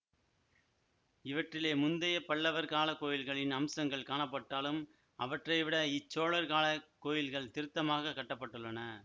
இவற்றிலே முந்தைய பல்லவர் கால கோயில்களின் அம்சங்கள் காணப்பட்டாலும் அவற்றைவிட இச் சோழர் கால கோயில்கள் திருத்தமாகக் கட்ட பட்டுள்ளன